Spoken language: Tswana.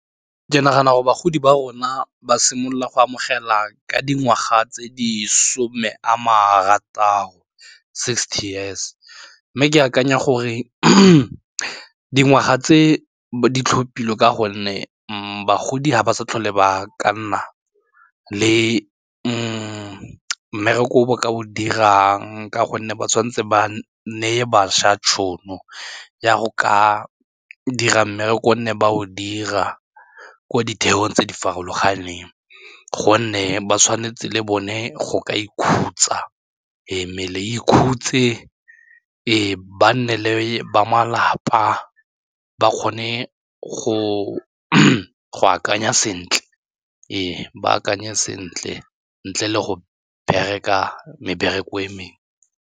Ke nagana gore bagodi ba rona ba simolola go amogela ka dingwaga tse di some a marataro sixty years mme ke akanya gore dingwaga tse di tlhophilwe ka gonne mo bagodi ga ba sa tlhole ba ka nna le mmereko o bo ka o dirang ka gonne ba tshwanetse ba neye bašwa tšhono ya go ka dira mmereko nne ba o dira ko ditheong tse di farologaneng gonne ba tshwanetse le bone go ka ikhutsa, ee mmele e ikhutse ba nne le ba malapa ba kgone go akanya sentle, ee ba akanye sentle ntle le go bereka mebereko e mengwe.